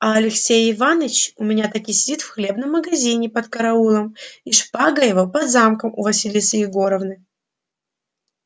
а алексей иваныч у меня таки сидит в хлебном магазине под караулом и шпага его под замком у василисы егоровны